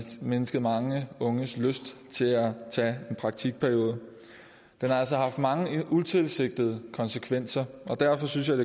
mindsket mange unges lyst til at tage en praktikperiode den har altså haft mange utilsigtede konsekvenser og derfor synes jeg